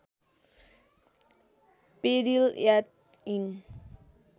peril at end